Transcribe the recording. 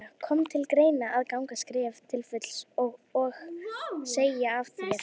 Guðný Helga: Kom til greina að ganga skrefið til fulls og, og segja af þér?